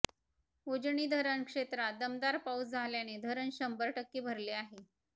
उजनी धरण क्षेत्रात दमदार पाऊस झाल्याने धरण शंभर टक्के भरले आहे